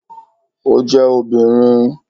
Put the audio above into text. O je obìnrin